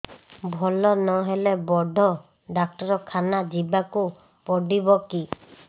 ଭଲ ନହେଲେ ବଡ ଡାକ୍ତର ଖାନା ଯିବା କୁ ପଡିବକି